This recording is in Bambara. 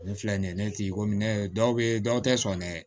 Ne filɛ nin ye ne tigi ko ne ye dɔw bɛ dɔw tɛ sɔn dɛ